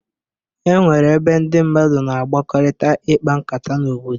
E nwere ebe ndị mmadụ na agbakọrịta ịkpa nkata n'obodo.